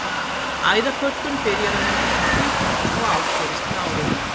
Æðakölkun byrjar að myndast um tvítugt og ágerist með árunum.